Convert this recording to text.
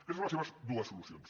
aquestes són les seves dues solucions